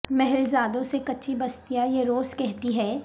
محل زادوں سے کچی بستیاں یہ روز کہتی ہیں